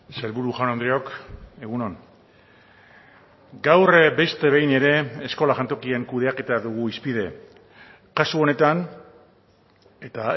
sailburu jaun andreok egun on gaur beste behin ere eskola jantokien kudeaketa dugu hizpide kasu honetan eta